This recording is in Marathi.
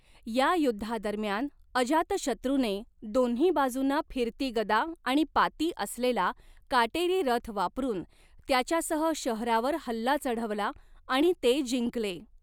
या युद्धादरम्यान, अजातशत्रूने दोन्ही बाजूंना फिरती गदा आणि पाती असलेला काटेरी रथ वापरून त्याच्यासह शहरावर हल्ला चढवला आणि ते जिंकले.